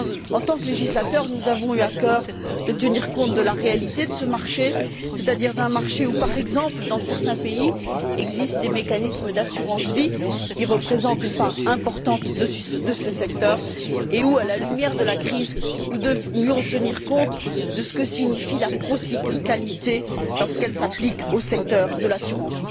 En tant que législateurs, nous avons eu à cœur de tenir compte de la réalité de ce marché, c'est à dire d'un marché où, par exemple, dans certains pays, il existe des mécanismes d'assurance vie qui représentent une part importante de ce secteur et où, à la lumière de la crise, nous devions tenir compte de ce que signifie la procyclicalité lorsqu'elle s'applique au secteur de l'assurance.